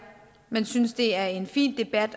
men vi synes det er en fin debat